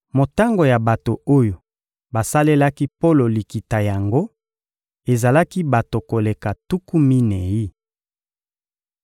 Motango ya bato oyo basalelaki Polo likita yango ezalaki bato koleka tuku minei.